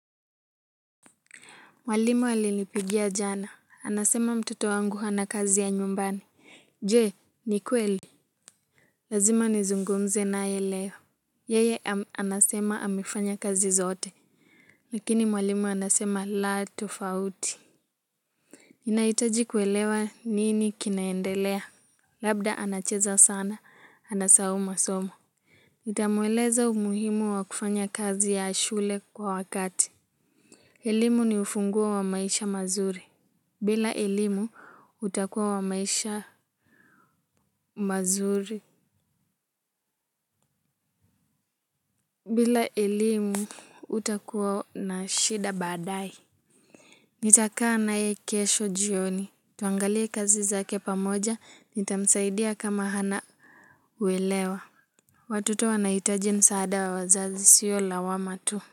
Mwalimu alinipigia jana. Anasema mtoto wangu hana kazi ya nyumbani. Je, ni kweli? Lazima nizungumze naye leo. Yeye anasema amefanya kazi zote. Lakini mwalimu anasema la tofauti. Nahitaji kuelewa nini kinaendelea. Labda anacheza sana. Anasahau masomo. Nitamueleza umuhimu wa kufanya kazi ya shule kwa wakati. Elimu ni ufunguo wa maisha mazuri. Bila elimu, utakuwa wa maisha mazuri. Bila ilimu utakuwa na shida badai. Nitakaa naye kesho jioni. Tuangalie kazi zake pamoja. Nitamsaidia kama hana uelewa. Watoto wanahitaji msaada wa wazazi, sio lawama tu.